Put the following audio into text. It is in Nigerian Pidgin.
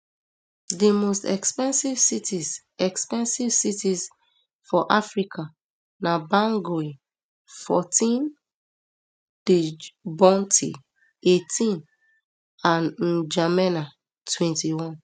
di most expensive cities expensive cities for africa na bangui fourteen djibouti eighteen and ndjamena twenty-one